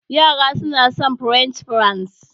Yara na son french fries